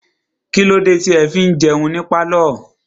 Kílódé tí ẹ fi ń jẹun ní pálọ̀?